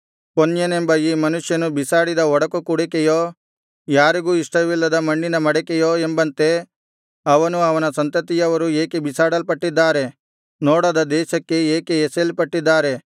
ಕೊನ್ಯನೆಂಬ ಈ ಮನುಷ್ಯನು ಬಿಸಾಡಿದ ಒಡಕು ಕುಡಿಕೆಯೋ ಯಾರಿಗೂ ಇಷ್ಟವಿಲ್ಲದ ಮಣ್ಣಿನ ಮಡಿಕೆಯೋ ಎಂಬಂತೆ ಅವನೂ ಅವನ ಸಂತತಿಯವರೂ ಏಕೆ ಬಿಸಾಡಲ್ಪಟ್ಟಿದ್ದಾರೆ ನೋಡದ ದೇಶಕ್ಕೆ ಏಕೆ ಎಸೆಯಲ್ಪಟ್ಟಿದ್ದಾರೆ